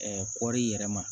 kɔɔri yɛrɛ ma